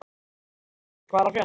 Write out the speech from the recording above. Sævaldur, hvað er að frétta?